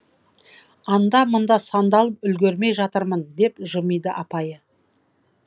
анда мында сандалып үлгермей жатырмын деп жымиды апайы